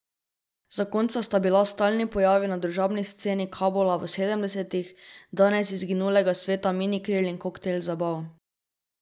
Zakonca sta bila stalni pojavi na družabni sceni Kabula v sedemdesetih, danes izginulega sveta minikril in koktajl zabav.